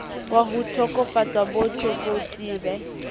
wa ho tokafatsa bo tlokotsebe